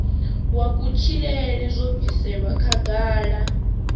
wa kutshilele zwo bviselwa khagala